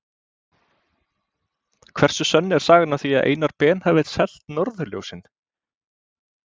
Hversu sönn er sagan af því að Einar Ben hafi selt norðurljósin?